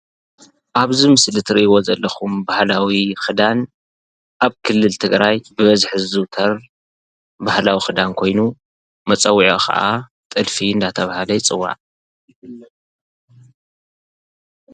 አብዚ ምስሊ እትሪእይዎ ዘለኩም ባህላዊ ክዳን አብ ክልል ትግራይ ብበዝሒ ዝዝውተር ባህላዊ ክዳን ኮይኑ፤ መፀዊዕኡ ከዓ ጥልፊ እናተብሃለ ይፅዋዕ፡፡